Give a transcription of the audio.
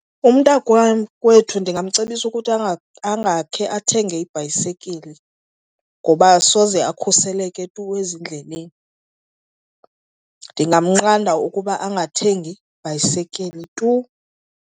Umntakwam kwethu ndingamcebisa ukuthi angakhe athenge ibhayisikili ngoba soze akhuseleke tu ezindleleni. Ndingamnqanda ukuba angathengi ibhayisikili tu.